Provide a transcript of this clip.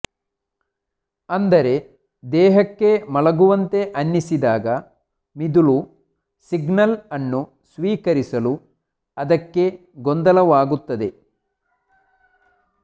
ಅಂದರೆ ದೇಹಕ್ಕೆ ಮಲಗುವಂತೆ ಅನ್ನಿಸಿದಾಗ ಮಿದುಳು ಸಿಗ್ನಲ್ ಅನ್ನು ಸ್ವೀಕರಿಸಲು ಅದಕ್ಕೆ ಗೊಂದಲವಾಗುತ್ತದೆ